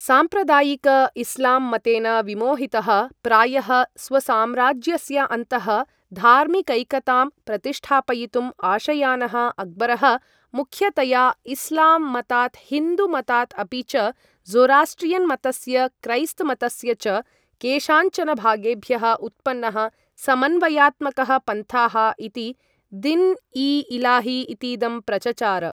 साम्प्रदायिक इस्लाम् मतेन विमोहितः, प्रायः स्वसाम्राज्यस्य अन्तः धार्मिकैकताम् प्रतिष्ठापयितुम् आशयानः अक्बरः मुख्यतया इस्लाम् मतात् हिन्दु मतात् अपि च ज़ोरास्ट्रियन् मतस्य क्रैस्त मतस्य च केषाञ्चन भागेभ्यः उत्पन्नः समन्वयात्मकः पन्थाः इति, दिन् ई इलाही इतीदं प्रचचार।